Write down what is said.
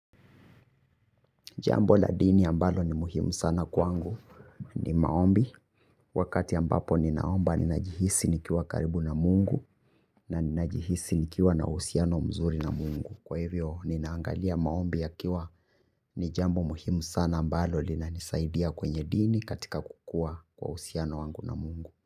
Jambo la dini ambalo ni muhimu sana kwangu ni maombi. Wakati ambapo ninaomba ninajihisi nikiwa karibu na mungu. Na ninajihisi nikiwa na usiano mzuri na mungu. Kwa hivyo ninaangalia maombi ya kiwa ni jambo muhimu sana ambalo lina nisaidia kwenye dini katika kukua kwa usiano wangu na mungu.